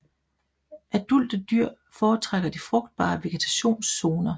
Adulte dyr foretrækker de frugtbare vegetationszoner